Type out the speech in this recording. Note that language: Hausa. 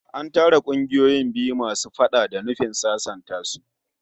An tara kungiyoyin biyu masu faɗa da nufin sasanta su